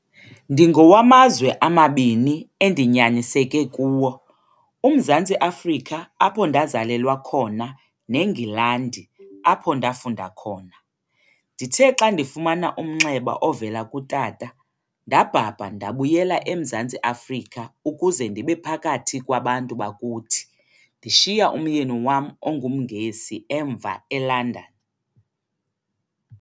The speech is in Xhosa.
"Ndingowamazwe amabini endinyaniseke kuwo- UMzantsi Afrika apho ndazalelwa khona neNgilandi apho ndafunda khona. Ndithe xa ndifumana umnxeba ovela kutata, ndabhabha ndabuyela eMzantsi Afrika ukuze ndibephakathi kwaBantu bakuthi, ndishiya umyeni wam onguMngesi emva eLondon.